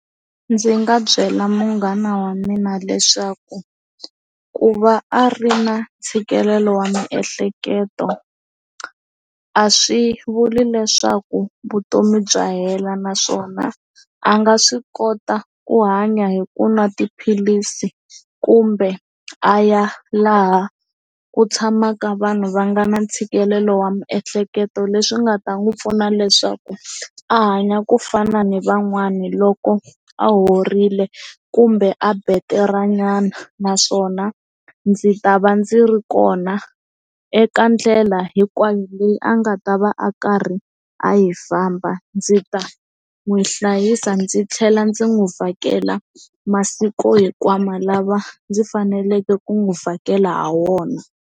Ndzi nga byela munghana wa mina leswaku ku va a ri na ntshikelelo wa miehleketo a swi vuli leswaku vutomi bya hela naswona a nga swi kota ku hanya hi ku nwa tiphilisi kumbe a ya laha ku tshamaka vanhu va nga na ntshikelelo wa miehleketo leswi nga ta n'wi pfuna leswaku a hanya ku fana ni van'wani loko a horile kumbe a battery nyana naswona ndzi ta va ndzi ri kona eka ndlela hinkwayo leyi a nga ta va a karhi a yi famba ndzi ta n'wi hlayisa ndzi tlhela ndzi n'wi vhakela masiku hinkwawo lava ndzi faneleke ku n'wi vhakela hi wona.